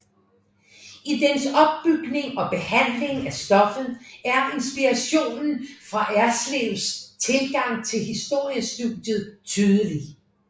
I dens opbygning og behandling af stoffet er inspirationen fra Erslevs tilgang til historiestudiet tydelig